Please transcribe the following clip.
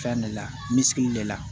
Fɛn de la misi le la